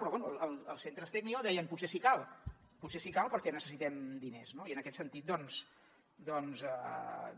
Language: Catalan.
però bé els centres tecnio deien potser sí que cal potser sí que cal perquè necessitem diners no i en aquest sentit doncs